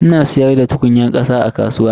Ana siyar da tukunyar kasa a kasuwa.